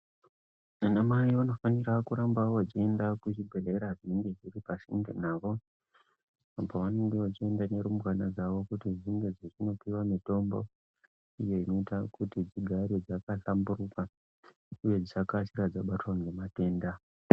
Ana mai vanofanira kuramba vakaenda kuzvibhedhlera zvinenge zviri pasinde navo apo pavanenge vachienda nerumbwana dzao kuti dzinge dzichindopuwa mitombo iyo inoita kuti dzigare dzakahlamburuka uye dzikasirazve kubatwa ngematenda.